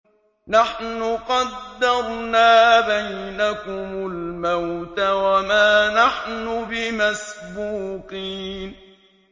نَحْنُ قَدَّرْنَا بَيْنَكُمُ الْمَوْتَ وَمَا نَحْنُ بِمَسْبُوقِينَ